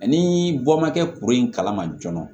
Ni bɔ ma kɛ kuru in kalama joona